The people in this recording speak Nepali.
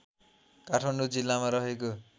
काठमाडौँ जिल्लामा रहेको